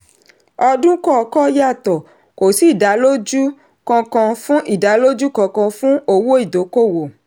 ọdún kọọkan yàtọ̀ kò sí ìdálójú kankan fún ìdálójú kankan fún owó ìdókòwò.